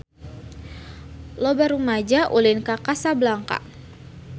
Loba rumaja ulin ka Kota Kasablanka